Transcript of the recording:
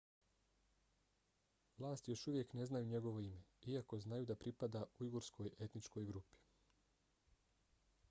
vlasti još uvijek ne znaju njegovo ime iako znaju da pripada ujgurskoj etničkoj grupi